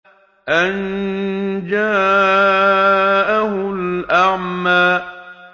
أَن جَاءَهُ الْأَعْمَىٰ